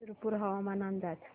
शिरपूर हवामान अंदाज